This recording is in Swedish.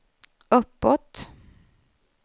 uppåt